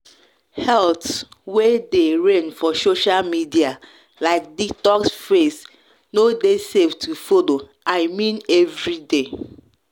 health way dey reign for social media like detox fads no dey safe to follow i i mean every day.